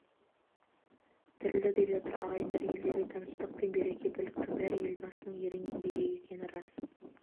тірілді деп жатыр ағайындар елдегі тыныштық пен береке бірліктің бәрі елбасының ерен еңбегі екені рас